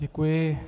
Děkuji.